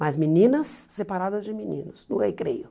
Mas meninas separadas de meninos, no recreio.